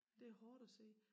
Det hårdt at se